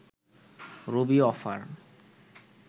Rabi offer